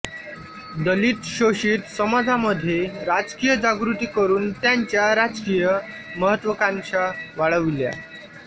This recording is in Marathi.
दलित शोषित समाजामध्ये राजकीय जागृती करून त्यांच्या राजकीय महत्त्वाकांक्षा वाढविल्या